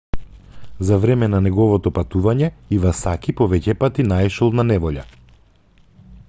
за време на неговото патување ивасаки повеќепати наишол на неволја